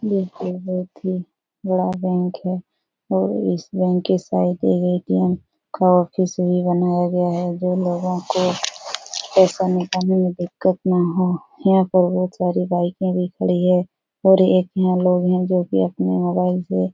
यह एक बोहोत ही बड़ा बैंक है और इस बैंक के सारे एटीएम का ऑफिस भी बनया गया हैं जो लोगो को पैसा निकालने में दिक्कत न हो। यहाँ पर बोहोत सारि बाइकें भी खड़ी हैं और एक यहाँ लोग जो अपने मोबाइल से --